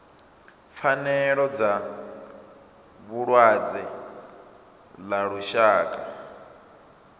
pfanelo dza vhalwadze ḽa lushaka